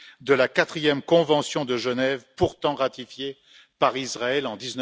de la quatrième convention de Genève, pourtant ratifiée par Israël en